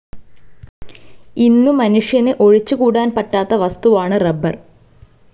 ഇന്നു മനുഷ്യന് ഒഴിച്ചുകൂടാൻ പറ്റാത്ത വസ്തുവാണ് റബ്ബർ.